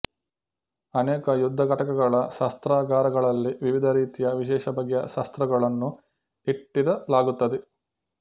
ಅನೇಕ ಯುದ್ಧ ಘಟಕಗಳ ಶಸ್ತ್ರಾಗಾರಗಳಲ್ಲಿ ವಿವಿಧ ರೀತಿಯ ವಿಶೇಷಬಗೆಯ ಶಸ್ತ್ರಗಳನ್ನು ಇಟ್ಟಿರಲಾಗುತ್ತದೆ